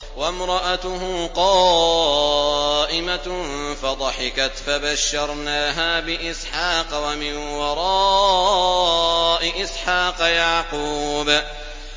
وَامْرَأَتُهُ قَائِمَةٌ فَضَحِكَتْ فَبَشَّرْنَاهَا بِإِسْحَاقَ وَمِن وَرَاءِ إِسْحَاقَ يَعْقُوبَ